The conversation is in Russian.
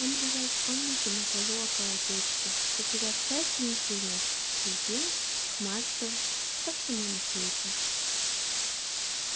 он лежал в комнате на полу около печки потеряв всякий интерес к еде к мату ко всему на свете